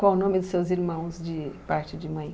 Qual o nome dos seus irmãos de parte de mãe?